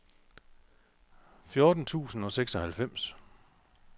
fjorten tusind og seksoghalvfems